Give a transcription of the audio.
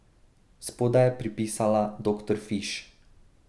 Spodaj je pripisala Doktor Fiš.